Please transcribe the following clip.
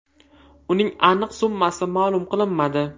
Uning aniq summasi ma’lum qilinmadi.